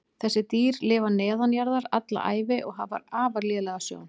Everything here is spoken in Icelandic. Þessi dýr lifa neðanjarðar alla ævi og hafa afar lélega sjón.